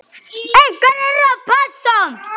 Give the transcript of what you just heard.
Einhver yrði að passa hann.